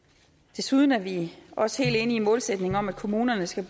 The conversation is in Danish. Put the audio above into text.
desuden er vi også helt enige i målsætningen om at kommunerne skal